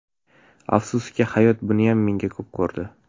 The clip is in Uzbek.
Afsuski, hayot buniyam menga ko‘p ko‘rdi.